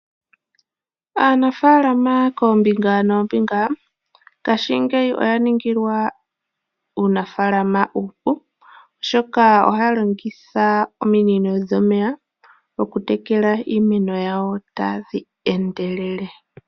Aanafaalama koombinga noombinga ngashingeyi oya ningilwa uunafaalama uupu, oshoka ohaya longitha ominino dhomeya okutekela iimeno yawo tadhi endelele.